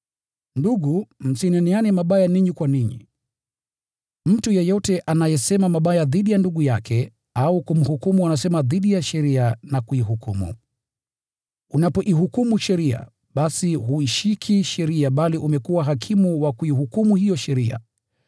Ndugu, msineneane mabaya ninyi kwa ninyi. Mtu yeyote anayesema mabaya dhidi ya ndugu yake au kumhukumu anasema dhidi ya sheria na kuihukumu. Unapoihukumu sheria, basi huishiki sheria bali umekuwa hakimu wa kuihukumu hiyo sheria.